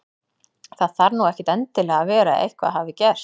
Það þarf nú ekkert endilega að vera að eitthvað hafi gerst.